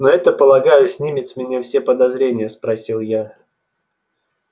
но это полагаю снимает с меня все подозрения спросил я